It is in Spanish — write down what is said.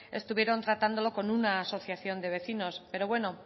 estuvieron tratándolo con una asociación de vecinos pero bueno